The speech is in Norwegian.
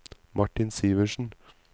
Martin Sivertsen